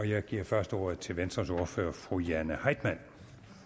jeg giver først ordet til venstres ordfører fru jane heitmann